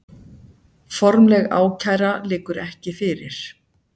Formleg ákæra liggur ekki fyrir